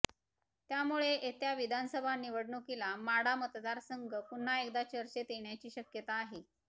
त्यामुळे येत्या विधानसभा निवडणुकीला माढा मतदारसंघ पुन्हा एकदा चर्चेत येण्याची शक्यता आहे